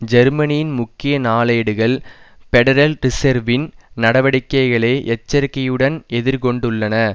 ஜெர்மனியின் முக்கிய நாளேடுகள் பெடரல் ரிசேர்வின் நடவடிக்கைகளை எச்சரிக்கையுடன் எதிர்கொண்டுள்ளன